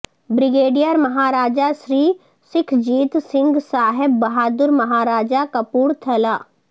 brigadier Maharaja Sri Sukhjit Singh Sahib Bahadur Maharaja Kapoor Thalla